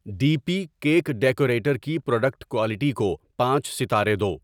D P cake decorator کی product quality کو پانچ ستارے دو